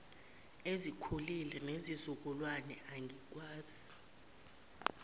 ezikhulile nezizukulwane angikwazi